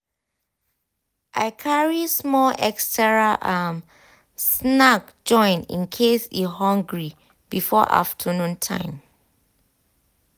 i carry small extra um snack join in case e hungry before afternoon time.